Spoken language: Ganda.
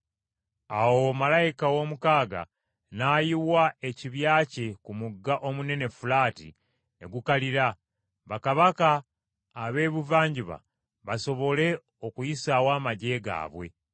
Awo malayika ow’omukaaga n’ayiwa ekibya kye ku mugga omunene Fulaati ne gukalira, bakabaka ab’ebuvanjuba basobole okuyisaawo amaggye gaabwe.